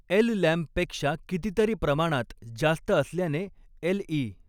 एललॅम्पपेक्षा कितीतरी प्रमाणात जास्त असल्याने एलई.